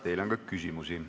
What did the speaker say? Teile on ka küsimusi.